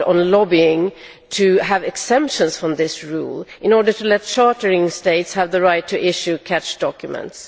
lobbying extremely hard to have exemptions from this rule, in order to let chartering states have the right to issue catch documents.